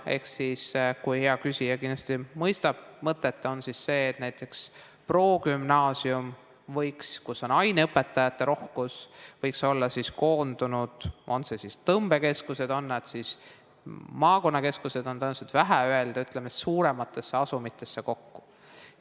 Ehk siis, hea küsija kindlasti mõistab, mõte on see, et näiteks progümnaasium, kus on aineõpetajate rohkus, võiks olla koondunud tõmbekeskustesse, maakonnakeskustesse on tõenäoliselt vähe öeldud, ütleme siis, et suurematesse asumitesse kokku.